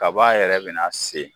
Kaba yɛrɛ bɛna se